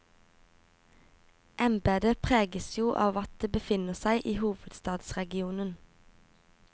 Embedet preges jo av at det befinner seg i hovedstadsregionen.